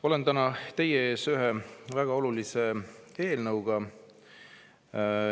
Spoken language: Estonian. Olen täna teie ees ühe väga olulise eelnõuga.